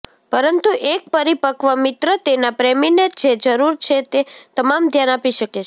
પરંતુ એક પરિપક્વ મિત્ર તેના પ્રેમીને જે જરૂર છે તે તમામ ધ્યાન આપી શકે છે